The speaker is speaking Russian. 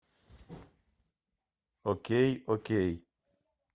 окей окей